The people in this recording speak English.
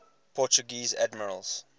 portuguese admirals